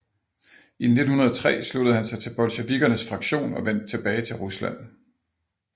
I 1903 sluttede han sig til bolsjevikkernes fraktion og vendte tilbage til Rusland